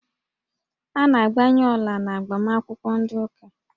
A na-agbanye ọla n'agbamakwụkwọ ndị ụka